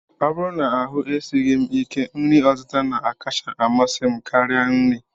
Ọ bụrụ na ahụ esighị m ike, nri ọtịta na-akacha amasị m karịa nri